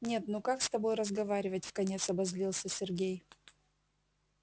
нет ну как с тобой разговаривать вконец обозлился сергей